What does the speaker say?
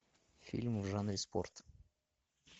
фильмы в жанре спорт